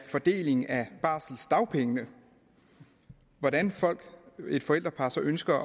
fordelingen af barseldagpengene hvordan et forældrepar så ønsker